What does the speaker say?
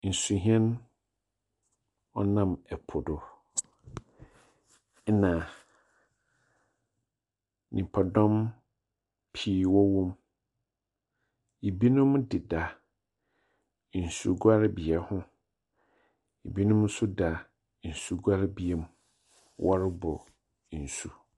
Nsuhyɛn ɔnam ɛpo do, na nyimpadɔm pii wɔwɔ mu. Binom deda nsugyawrebea ho. Binom nso deda nsuguarebea mu, wɔrobor nso.